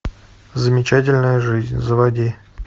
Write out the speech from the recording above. замечательная жизнь заводи